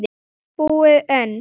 Og ekki allt búið enn.